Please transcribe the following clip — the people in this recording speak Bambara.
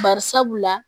Bari sabula